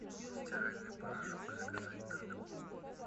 стиральный порошок заказать на дом